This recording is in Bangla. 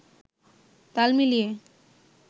তাল মিলিয়ে